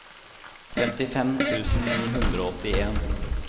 femtifem tusen ni hundre og åttien